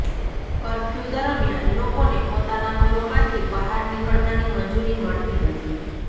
curfew દરમિયાન લોકોને પોતાના ઘરોમાંથી બહાર નિકળવાની મંજૂરી મળતી નથી